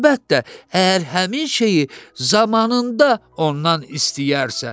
Əlbəttə, əgər həmin şeyi zamanında ondan istəyərsə.